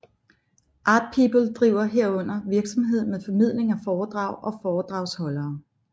ArtPeople driver herudover virksomhed med formidling af foredrag og foredragsholdere